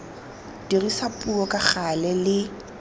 dirisa puo ka gale le